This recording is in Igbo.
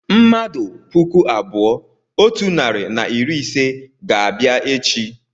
mmadụ puku abụọ otu narị na iri ise ga-abịa echi